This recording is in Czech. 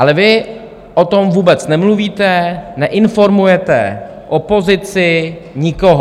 Ale vy o tom vůbec nemluvíte, neinformujete opozici, nikoho.